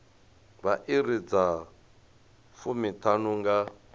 vha iri dza fumiṱhanu nga